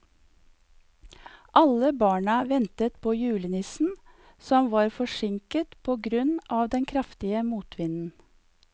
Alle barna ventet på julenissen, som var forsinket på grunn av den kraftige motvinden.